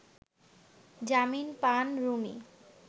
জামিন পান রুমি